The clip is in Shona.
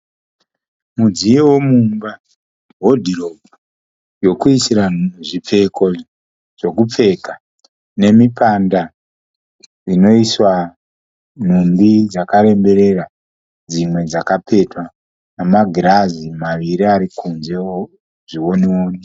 Mudziyo wemumba, hodhiropu yokuisira zvipfeko zvokupfeka nemipanda inoiswa nhumbi dzakaremberera dzimwe dzakapetwa, nemagirazi maviri ari kunzewo zviwoni woni.